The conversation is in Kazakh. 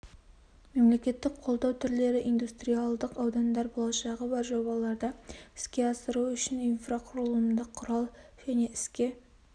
мемлекеттік қолдау түрлері индустриалдық аудандар болашағы бар жобаларды іске асыру үшін инфрақұрылымдық құрал және іске